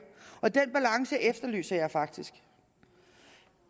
og den balance efterlyser jeg faktisk